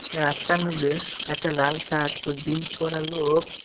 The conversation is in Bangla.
রাস্তার মধ্যে একটা লাল শার্ট ও জিন্স পরা লোক।